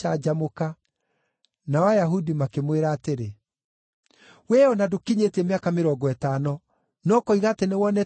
Nao Ayahudi makĩmwĩra atĩrĩ, “Wee o na ndũkinyĩtie mĩaka mĩrongo ĩtano, na ũkoiga atĩ nĩwonete Iburahĩmu!”